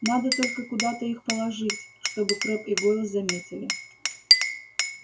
надо только куда-то их подложить чтобы крэбб и гойл заметили